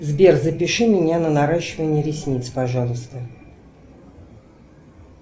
сбер запиши меня на наращивание ресниц пожалуйста